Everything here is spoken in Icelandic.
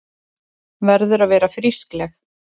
Verður að vera frískleg.